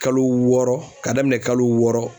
Kalo wɔɔrɔ ka daminɛ kalo wɔɔrɔ